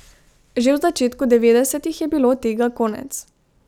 Že v začetku devetdesetih je bilo tega konec.